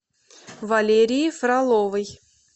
валерии фроловой